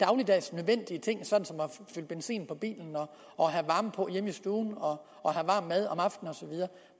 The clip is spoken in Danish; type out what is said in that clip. dagligdags nødvendige ting såsom at fylde benzin på bilen og have varme på hjemme i stuen og varm mad